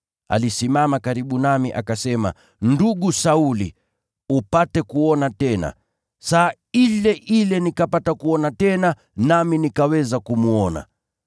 Akasimama karibu nami, akasema, ‘Ndugu Sauli, pata kuona tena!’ Saa ile ile nikapata kuona tena, nami nikaweza kumwona.